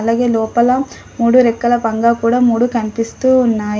అలాగే లోపల మూడు రెక్కల పంగా కూడా మూడు కనిపిస్తూ ఉన్నాయి.